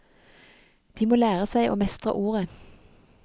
De må lære seg å mestre ordet.